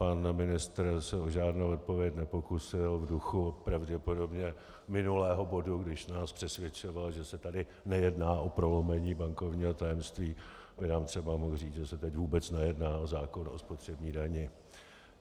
Pan ministr se o žádnou odpověď nepokusil, v duchu pravděpodobně minulého bodu, když nás přesvědčoval, že se tady nejedná o prolomení bankovního tajemství, by nám třeba mohl říci, že se teď vůbec nejedná o zákon o spotřební dani.